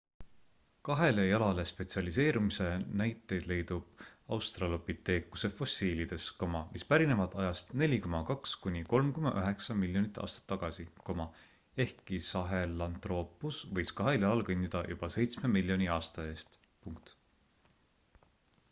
kahele jalale spetsialiseerumise näiteid leidub australopiteekuse fossiilides mis pärinevad ajast 4,2–3,9 miljonit aastat tagasi ehkki sahelantroopus võis kahel jalal kõndida juba seitsme miljoni aasta eest